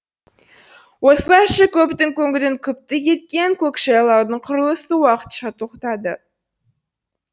осылайша көптің көңілін күпті еткен көкжайлаудың құрылысы уақытша тоқтады